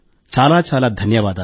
చాలా చాలా ధన్యవాదాలు